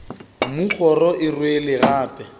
mmu kgoro e rwele gape